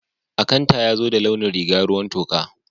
Akanta yazo da launin rìga ruwan toka.